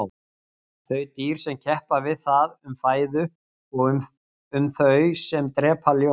þau dýr sem keppa við það um fæðu og þau sem drepa ljón